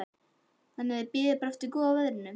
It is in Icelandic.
Jóhann: Þannig þið bíðið bara eftir góða veðrinu?